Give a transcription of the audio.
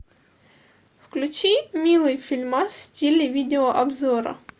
включи милый фильмас в стиле видеообзора